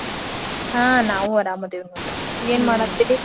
ಹಾ ನಾವೂ ಅರಾಮದೇವ್ ಏನ್ ಮಾಡಾಹತ್ತೇರ್ರಿ?